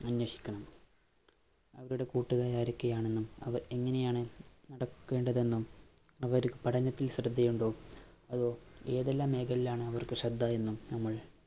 അന്വേഷിക്കണം. അവരുടെ കൂട്ടുകാര്‍ ആരോക്കെയാണെന്നും, അവ എങ്ങനെയാണ് നടക്കേണ്ടതെന്നും, അവര് പഠനത്തില്‍ ശ്രദ്ധയുണ്ടോ, അതോ ഏതെല്ലാം മേഖലകളിലാണ്‌ അവര്‍ക്ക് ശ്രദ്ധയെന്നും നമ്മള്‍